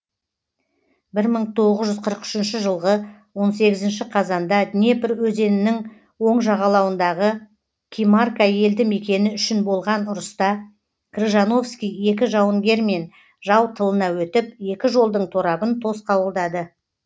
бір мың тоғыз жүз қырық үшінші жылғы он сегізінші қазанда днепр өзенінің оң жағалауындағы кимарка елді мекені үшін болған ұрыста крыжановский екі жауынгермен жау тылына өтіп екі жолдың торабын тосқауылдады